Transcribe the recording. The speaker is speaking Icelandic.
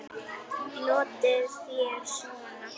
Notið þér svona?